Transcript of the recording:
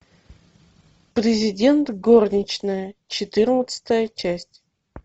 президент горничная четырнадцатая часть